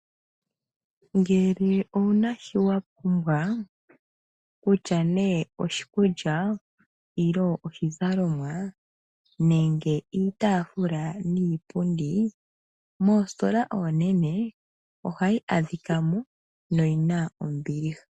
Ngele owuna shi wapumbwa kutya ne oshikulya, nenge oshizalomwa, nenge iitafula niipundi moositola oonene ohayi adhikamo noyina ombiliha.